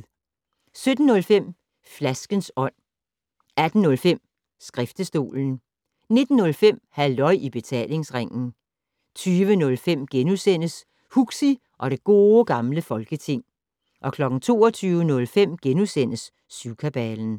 17:05: Flaskens Ånd 18:05: Skriftestolen 19:05: Halløj i Betalingsringen 20:05: Huxi og det Gode Gamle Folketing * 22:05: Syvkabalen *